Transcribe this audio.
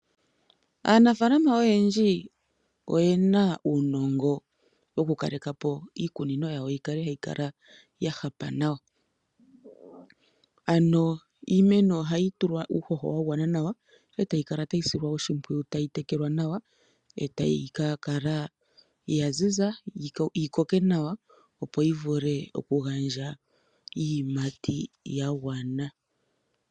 Aanafaalama oyendji oyena uunongo woku kaleka po iikunino yawo yi kale hayi kala ya hapa nawa. Ano iimeno ohayi tulwa uuhoho wa gwana nawa, etayi kala tayi silwa oshimpwiyu, tayi tekelwa nawa etayi ka kala ya ziza yi koke nawa opo yi vule oku gandja iiyimati ya gwana.